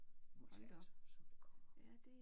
Vi må tage det som det kommer